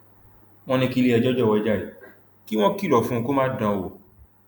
wọn ní kílẹẹjọ jọwọ jàre kí wọn kìlọ fún un kó má dán an wò